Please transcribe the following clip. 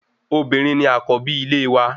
Obìnrin ni àkọ́bí ilé wa